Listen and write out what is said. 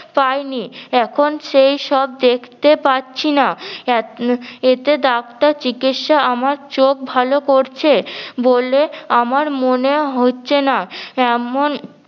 পাই নি এখন সেইসব দেখতে পাচ্ছি না এতে ডাক্তার চিকিৎসা আমার চোখ ভালো করছে বলে আমার মনে হচ্ছে না এমন